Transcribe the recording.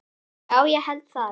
Já, ég held það.